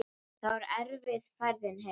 Það var erfið ferðin heim.